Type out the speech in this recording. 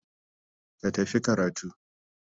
Ka tafi karatu.